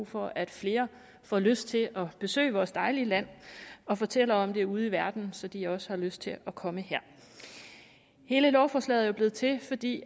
for at flere får lyst til at besøge vores dejlige land og fortælle om det ude i verden så de også har lyst til at komme her hele lovforslaget er jo blevet til fordi